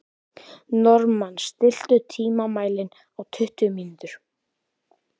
Normann, stilltu tímamælinn á tuttugu mínútur.